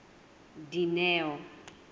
dineo